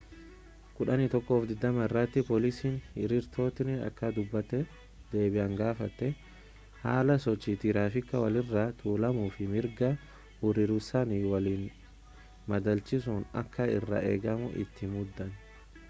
11:20 irratti poolisiin hiriirtotni akka dubatti deebi'an gaafate haala sochii tiraafikaa walirra tuulamuufi mirga hiriiruusaanii waliin madalchiisuun akka irraa eegamu itti himuudhaan